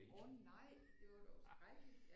Åh nej det var dog skrækkeligt!